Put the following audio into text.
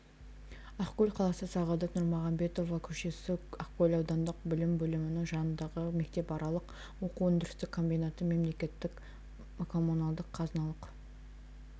ақкөл қаласы сағадат нұрмағамбетова көшесі ақкөл аудандық білім бөлімінің жанындағы мектепаралық оқу өндірістік комбинаты мемлекеттік коммуналдық қазыналық